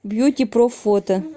бьюти проф фото